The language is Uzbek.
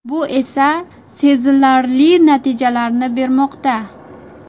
Bu esa sezilarli natijalarni bermoqda.